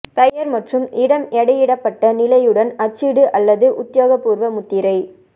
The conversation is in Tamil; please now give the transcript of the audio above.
பெயர் மற்றும் இடம் எடையிடப்பட்ட நிலையுடன் அச்சிடு அல்லது உத்தியோகபூர்வ முத்திரை